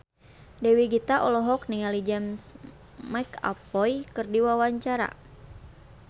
Dewi Gita olohok ningali James McAvoy keur diwawancara